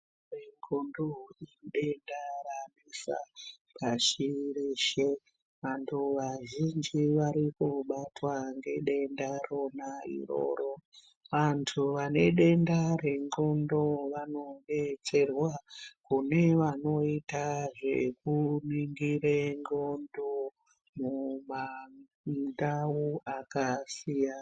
Redxondo idenda ranesa pashi reshe vantu vazhinji vari kubatwa ngedenda rona iroro vantu vane denda rendxondo vanodetserwa kune vanoita zvekuningire ndxondo mumandau akasiyana.